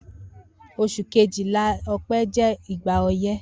Os̩ù kejìlá, O̩pé̩, jé̩ igba o̩yé̩